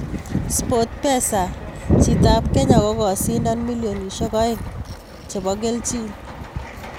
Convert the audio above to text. Sportpesa: Chiti ab Kenya kokasindon milionisiek aeng nebo kelchin.